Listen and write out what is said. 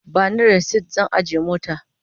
Ba ni rasit zan ajiye mota.